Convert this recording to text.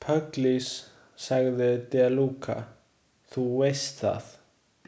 Pugliese, sagði De Luca, þú veist það.